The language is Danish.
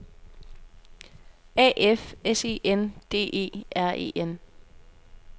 A F S E N D E R E N